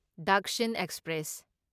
Dakshin express